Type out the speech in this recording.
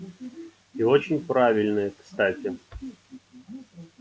и очень правильные кстати